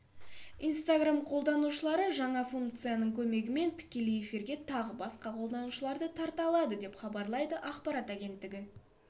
инстаграм қолданушылары жаңа функцияның көмегімен тікелей эфирге тағы басқа қолданушыларды тарта алады деп хабарлайды ақпарат агенттігі